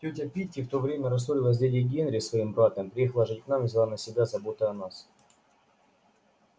тётя питти в то время рассорилась с дядей генри своим братом переехала жить к нам и взяла на себя заботы о нас